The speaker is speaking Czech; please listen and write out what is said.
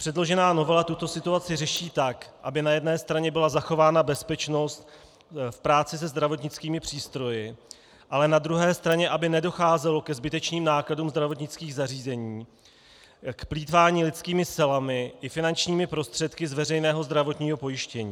Předložená novela tuto situaci řeší tak, aby na jedné straně byla zachována bezpečnost v práci se zdravotnickými přístroji, ale na druhé straně aby nedocházelo ke zbytečným nákladům zdravotnických zařízení, k plýtvání lidskými silami i finančními prostředky z veřejného zdravotního pojištění.